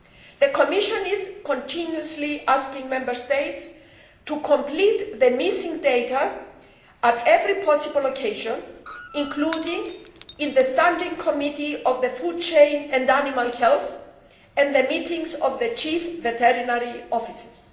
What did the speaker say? The Commission is continually asking Member States to complete the missing data on every possible occasion, including in the Standing Committee on the Food Chain and Animal Health and the meetings of the chief veterinary officers.